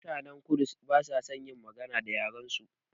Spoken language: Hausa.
Mutanen kudu ba sa son magana da yaren su